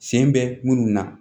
Sen bɛ munnu na